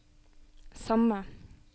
samme